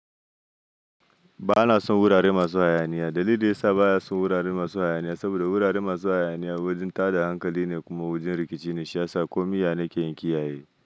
Ba na son wurare masu hayaniya. Dalili da ya sa ba ya son wurare masu hayaniya, saboda wurare masu hayaniya wajen tada hankali ne kuma wajen rikici ne, shi ya sa komiya na ke yin kiyaye.